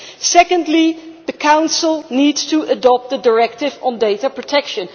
Secondly, the Council needs to adopt the directive on data protection.